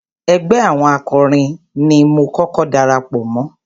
Ẹgbẹ́ àwọn akọrin ni mo kọ́kọ́ darapọ̀ mọ́.